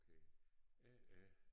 Okay Jeg er